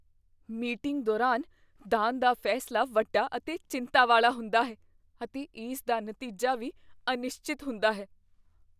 Meeting ਦੌਰਾਨ ਦਾਨ ਦਾ ਫੈਸਲਾ ਵੱਡਾ ਅਤੇ ਚਿੰਤਾ ਵਾਲਾ ਹੁੰਦਾ ਹੈ ਅਤੇ ਇਸ ਦਾ ਨਤੀਜਾ ਵੀ ਅਨਿਸ਼ਚਿਤ ਹੁੰਦਾ ਹੈ।